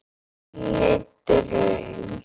Inní draum.